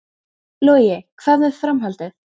Logi: Hvað með framhaldið?